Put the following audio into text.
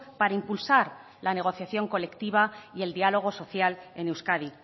para impulsar la negociación colectiva y el diálogo social en euskadi